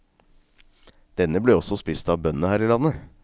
Denne ble også spist av bøndene her i landet.